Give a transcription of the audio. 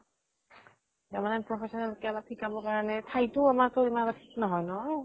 তাৰ মানে professional কাবাক শিকাবৰ কাৰণে ঠাইটো ঠিক নহয় ন।